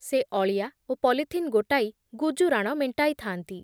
ସେ ଅଳିଆ ଓ ପଲିଥିନ୍ ଗୋଟାଇ ଗୁଜୁରାଣ ମେଣ୍ଟାଇଥାନ୍ତି।